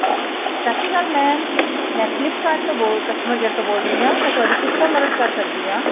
ਸ਼੍ਰੀ ਅਕਾਲ mam ਮੈਂ flip kart ਤੋਂ ਬੋਲ customer care ਤੋਂ ਰਹੀ ਹਾਂ ਮੈਂ ਤੁਹਾਡੀ ਕਿਸ ਤਰ੍ਹਾਂ ਮਦਦ ਕਰ ਸਕਦੀ ਹਾਂ